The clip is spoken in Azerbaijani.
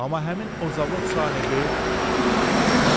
Amma həmin o zavod sahibi